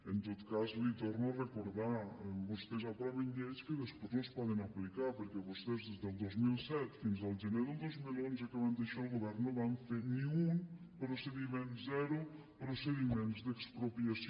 en tot cas li ho torno a recor·dar vostès aproven lleis que després no es poden apli·car perquè vostès des del dos mil set fins al gener del dos mil onze que van deixar el govern no van fer ni un procedi·ment zero procediments d’expropiació